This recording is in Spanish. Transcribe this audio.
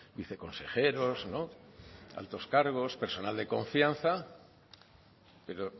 viceconsejeros altos cargos personal de confianza pero